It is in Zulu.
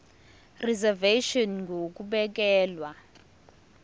reservation ngur ukubekelwa